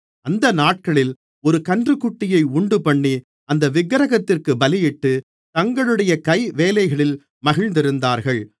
அந்த நாட்களில் ஒரு கன்றுக்குட்டியை உண்டுபண்ணி அந்த விக்கிரகத்திற்குப் பலியிட்டு தங்களுடைய கைவேலைகளில் மகிழ்ந்திருந்தார்கள்